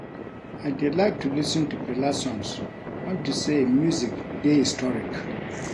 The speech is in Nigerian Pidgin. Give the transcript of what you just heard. I dey like to lis ten to Fela songs unto say im music dey historic